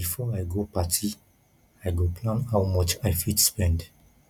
before i go party i go plan how much i fit spend